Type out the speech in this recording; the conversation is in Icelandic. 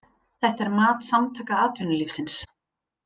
Þetta er mat Samtaka atvinnulífsins